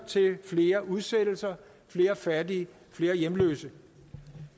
til flere udsættelser flere fattige flere hjemløse